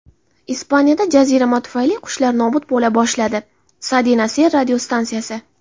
Ispaniyada jazirama tufayli qushlar nobud bo‘la boshladi – "Cadena Ser" radiostansiyasi.